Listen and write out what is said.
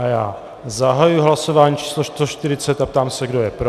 A já zahajuji hlasování číslo 140 a ptám se, kdo je pro.